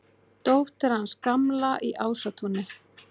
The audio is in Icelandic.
Dóttir hans Gamla í Ásatúni!